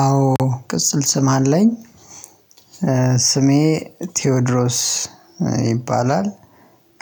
አዎ ቅጽል ስም አለኝ። ስሜ ቴዎድሮስ ይባላል